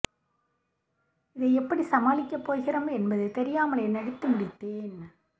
இதை எப்படிச் சமாளிக்கப் போகிறோம் என்பது தெரியாமலேயே நடித்து முடித்தேன்